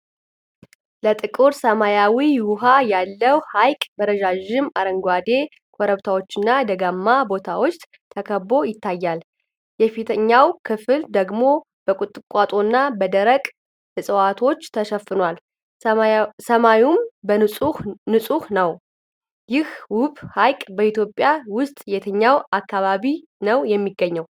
ለጥቁር ሰማያዊ ውሃ ያለው ሐይቅ፣ በረዣዥም አረንጓዴ ኮረብታዎችና ደጋማ ቦታዎች ተከብቦ ይታያል፤ የፊተኛው ክፍል ደግሞ በቁጥቋጦና በደረቁ ዕፅዋቶች ተሸፍኗል፤ ሰማዩም ንጹህ ነው። ይህ ውብ ሐይቅ በኢትዮጵያ ውስጥ የትኛው አካባቢ ነው የሚገኘው?